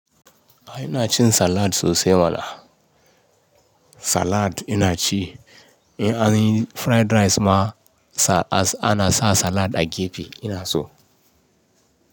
Ai ina cin salad sosai mana. Salad ina ci, in anyi fried rice ma ana sa salad a gefe ina so.